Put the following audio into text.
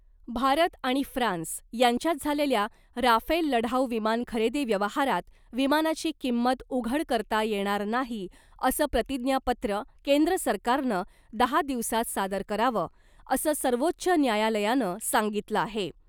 भारत आणि फ्रान्स यांच्यात झालेल्या राफेल लढाऊ विमान खरेदी व्यवहारात विमानाची किंमत उघड करता येणार नाही , असं प्रतिज्ञापत्र केंद्र सरकारनं दहा दिवसात सादर करावं , असं सर्वोच्च न्यायालयानं सांगितलं आहे .